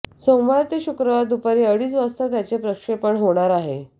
सोमवार ते शुक्रवार दुपारी अडीच वाजता त्याचे प्रक्षेपण होणार आहे